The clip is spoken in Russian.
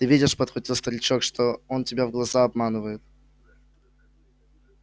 ты видишь подхватил старичок что он тебя в глаза обманывает